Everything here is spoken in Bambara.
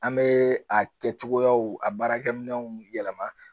An bɛ a kɛcogoyaw a baarakɛminɛnw yɛlɛma